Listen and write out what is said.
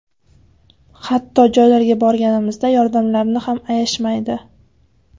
Hatto joylarga borganimizda yordamlarini ham ayashmaydi.